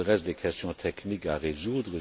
Il reste des questions techniques à résoudre.